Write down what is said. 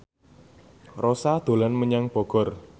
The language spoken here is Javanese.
Rossa dolan menyang Bogor